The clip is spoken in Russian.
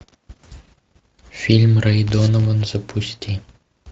фильм рэй донован запусти